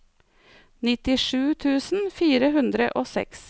nittisju tusen fire hundre og seks